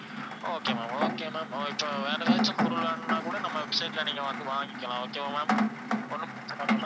okay ma'am okay ma'am ஆஹ் இப்ப வேற ஏதாச்சும் பொருள் வேணும்னா கூட நம்ம website ல நீங்க வந்து வாங்கிக்கலாம் okay வா ma'am ஒண்ணும் பிரச்சனை இல்ல ma'am